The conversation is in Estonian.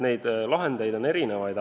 Neid lahendusi on mitmesuguseid.